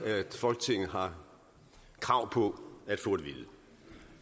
folketinget har krav på at få at vide